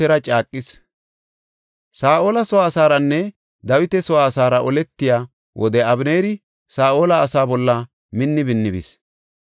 Saa7ola soo asaaranne Dawita soo asaara oletiya wode Abeneeri Saa7ola asaa bolla minni minni bis.